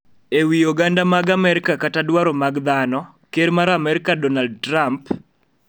E wi oganda mag Amerka kata dwaro mag dhano. Ker mar Amerka Donald Trump